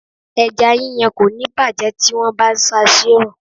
Ẹja yíyan kò ní bàjé tí wón bá ń sa sí oòrùn.